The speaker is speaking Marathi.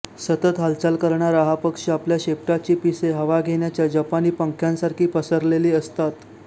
सतत हालचाल करणारा हा पक्षी आपल्या शेपटाची पिसे हवा घेण्याच्या जपानी पंख्यासारखी पसरलेली असतात